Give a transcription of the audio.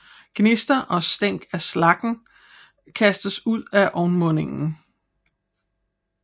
Gnister og stænk af slaggen kastes ud af ovnmundingen